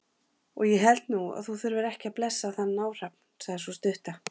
Og ég held nú að þú þurfir ekki að blessa þann náhrafn, sagði sú stutta.